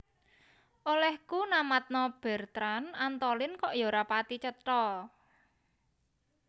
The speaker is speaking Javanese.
Olehku namatno Bertrand Antolin kok yo ra pathi cetha